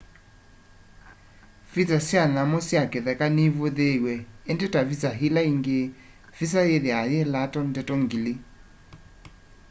visa sya nyamu sya kitheka nivuthiiw'e indi ta visa ila ingi visa yithiawa yi lato ndeto ngili